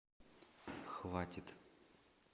хватит